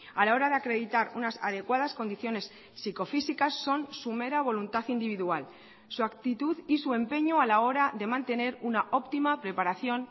a la hora de acreditar unas adecuadas condiciones psicofísicas son su mera voluntad individual su actitud y su empeño a la hora de mantener una óptima preparación